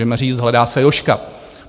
Můžeme říct: Hledá se Jožka.